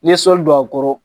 N'i ye sɔli don a kɔrɔ